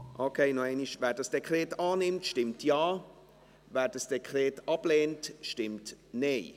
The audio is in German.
Wer dieses Dekret annimmt, stimmt Ja, wer es ablehnt, stimmt Nein.